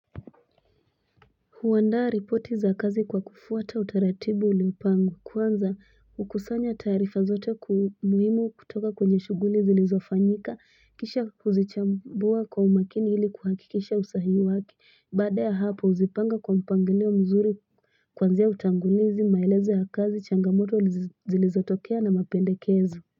Huwanda ripoti za kazi kwa kufuwata utaratibu uliopangwa. Kwanza, ukusanya tarifa zote ku muhimu kutoka kwenye shuguli zilizo fanyika, kisha uzi chambuwa kwa umakini iliku haki kisha usahihi wake. Bada ya hapo uzipanga kwa mpangilio mzuri, kwanzia utangulizi maelezo ya kazi changamoto lizotokea na mapendekezo.